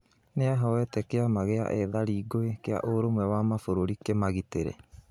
Nĩahoete kĩama gĩa ethari ngũĩ kĩa ũrũmwe wa mabũrũri kĩmagitĩre.